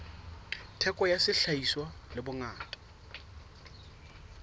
theko ya sehlahiswa le bongata